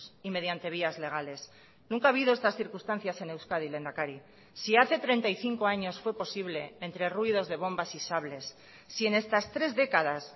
y mediante vías legales nunca ha habido estas circunstancias en euskadi lehendakari si hace treinta y cinco años fue posible entre ruidos de bombas y sables si en estas tres décadas